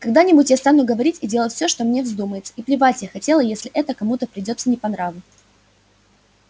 когда-нибудь я стану говорить и делать все что мне вздумается и плевать я хотела если это кому-то придётся не по нраву